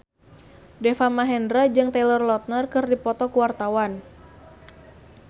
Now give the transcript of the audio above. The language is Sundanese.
Deva Mahendra jeung Taylor Lautner keur dipoto ku wartawan